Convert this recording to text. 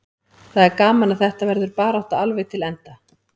Það er gaman að þetta verður barátta alveg til enda.